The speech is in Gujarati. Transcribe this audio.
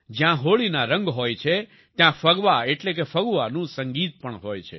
જ્યાં હોળીના રંગ હોય છે ત્યાં ફગવા એટલે કે ફગુઆનું સંગીત પણ હોય છે